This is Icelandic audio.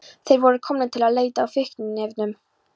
Þeir voru komnir til að leita að fíkniefnum.